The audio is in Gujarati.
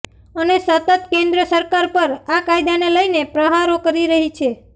અને સતત કેન્દ્ર સરકાર પર આ કાયદાને લઈને પ્રહારો કરી રહી છે